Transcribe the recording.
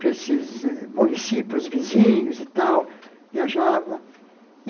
para esses eh municípios vizinhos e tal, viajava.